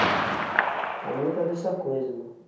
Há muita dessa coisa, meu.